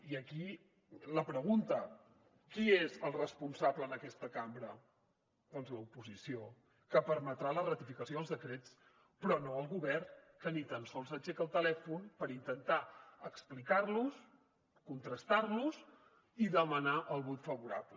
i aquí la pregunta qui és el responsable en aquesta cambra doncs l’oposició que permetrà la ratificació dels decrets però no el govern que ni tan sols aixeca el telèfon per intentar explicar los contrastar los i demanar el vot favorable